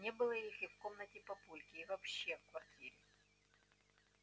не было их и в комнате папульки и вообще в квартире